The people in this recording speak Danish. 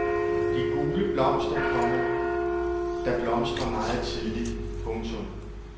De gule blomster, komma der blomstrer meget tidligt. punktum